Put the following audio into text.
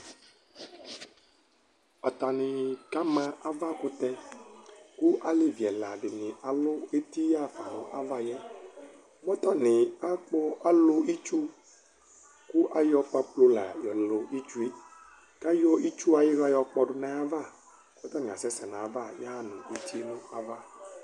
atani kama ava kutɛ kò alevi ɛla dini alu eti ya'fa no avaɛ mɛ atani akpɔ alò itsu ko ayɔ pampro la yɔ lò itsue k'ayɔ itsu ayila yɔ kpɔ do n'ava k'atani asɛ sɛ n'ava ya'fa no etie n'ava